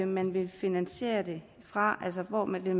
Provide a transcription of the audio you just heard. man vil finansiere det fra altså hvor man vil